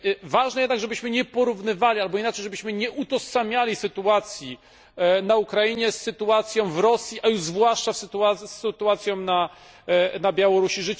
Ważne jednak, żebyśmy nie porównywali albo inaczej żebyśmy nie utożsamiali sytuacji na Ukrainie z sytuacją w Rosji, a już zwłaszcza z sytuacją na Białorusi.